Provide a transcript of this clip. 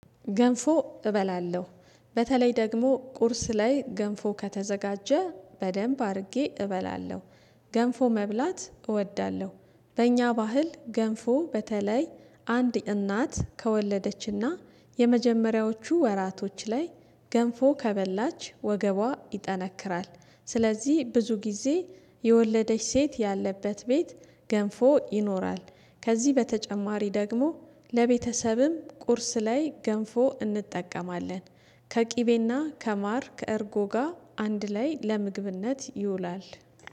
ገንፎ እበላለሁ በተለይ ደግሞ ቁርስ ላይ ገንፎ ከተዘጋጀ በደንብ አድርጌ እበላለሁ። ገንፎ መብላት እወዳለሁ። በእኛ ባህል ገንፎ በተለይ አንድ እናት ከወለደችና የመጀመሪያዎቹ ወራቶች ላይ ገንፎ ከበላች ወገቧ ይጠነክራል ስለዚህ ብዙ ጊዜ የወለደች ሴት ያለበት ቤት ገንፎ ይኖራል። ከዚህ በተጨማሪ ደግሞ ለቤተሰብም ቁርስ ላይ ገንፎ እንጠቀማለን። ከቅቤና ከማር ከእርጎ ጋር አንድ ላይ ለምግብነት ይውላል።